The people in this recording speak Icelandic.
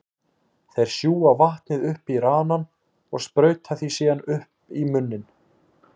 Þeir sjúga vatnið upp í ranann og sprauta því síðan upp í munninn.